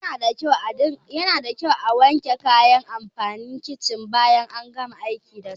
Yanada kyau a wanke kayan amfanin kicin bayan an gama aiki dasu.